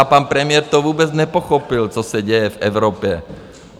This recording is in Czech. A pan premiér to vůbec nepochopil, co se děje v Evropě.